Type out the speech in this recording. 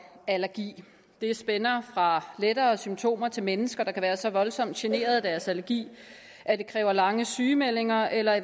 allergi det spænder fra lettere symptomer til at mennesker kan være så voldsomt generet af deres allergi at det kræver lange sygemeldinger eller at